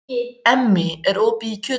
Emmý, er opið í Kjötborg?